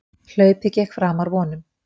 Hlaupið gekk framar vonum